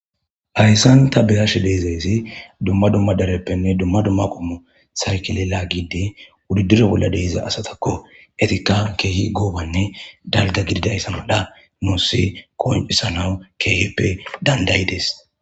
hayssan ta be'ashe deezaysi dumma dumma dareppenne dumma dumma qomo sarkilela gide wudidire bolla de'iza asatakko etika keehi goobanne dalga gididayssa malla nussi kooncisanawu keheppe dandayides